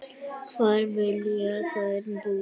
Hvar vilja þær búa?